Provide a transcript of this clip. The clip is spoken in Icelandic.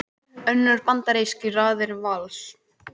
Önnur bandarísk í raðir Vals